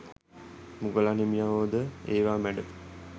මුගලන් හිමියෝ ද ඒවා මැඩ